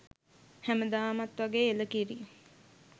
හැමදාමත් වගේ එළකිරි